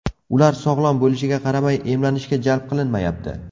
Ular sog‘lom bo‘lishiga qaramay, emlanishga jalb qilinmayapti.